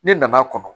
Ne nana kɔnɔ